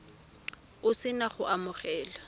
o se na go amogela